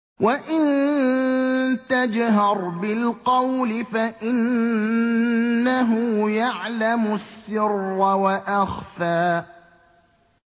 وَإِن تَجْهَرْ بِالْقَوْلِ فَإِنَّهُ يَعْلَمُ السِّرَّ وَأَخْفَى